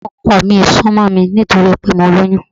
Ọkọ mi ò ń sún mọ́ mi nítorí pé mo lóyún